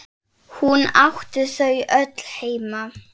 Hún átti þau öll heima.